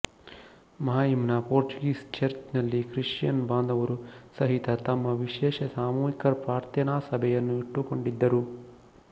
ಮಾಹಿಮ್ ನ Portuguese church ನಲ್ಲಿ Christian ಬಾಂಧವರು ಸಹಿತ ತಮ್ಮ ವಿಶೇಷ ಸಾಮೂಹಿಕ ಪ್ರಾರ್ಥೆನಾ ಸಭೆಯನ್ನು ಇಟ್ಟುಕೊಂಡಿದ್ದರು